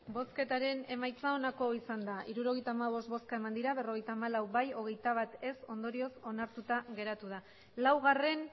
emandako botoak hirurogeita hamabost bai berrogeita hamalau ez hogeita bat ondorioz onartuta geratu da laugarrena